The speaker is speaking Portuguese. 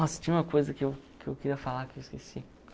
Nossa, tinha uma coisa que eu que eu queria falar que eu esqueci.